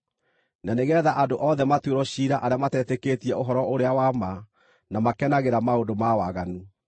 na nĩgeetha andũ othe matuĩrwo ciira arĩa matetĩkĩtie ũhoro-ũrĩa-wa-ma na makenagĩra maũndũ ma waganu.